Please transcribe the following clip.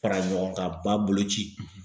Fara ɲɔgɔn kan ba boloci